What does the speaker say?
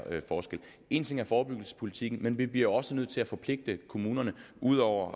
forskel en ting er forebyggelsespolitikken men vi bliver også nødt til at forpligte kommunerne ud over